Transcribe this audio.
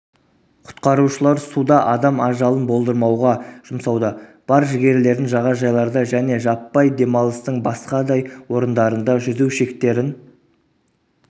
құтқарушылар суда адам ажалын болдырмауға жұмсауда бар жігерлерін жағажайларда және жаппай демалыстың басқадай орындарында жүзу шектерін